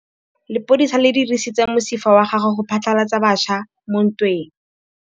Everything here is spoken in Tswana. Lepodisa le dirisitse mosifa wa gagwe go phatlalatsa batšha mo ntweng.